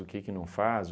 O que que não faz?